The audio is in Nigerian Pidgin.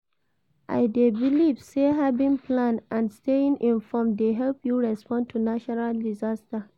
I dey believe say having a plan and staying informed dey help you respond to natural disasters.